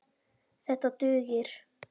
Þetta dugir.